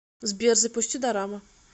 сбер запусти дорама